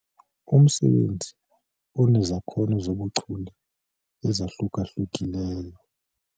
Umsebenzi unezakhono zobuchule ezahluka-hlukileyo.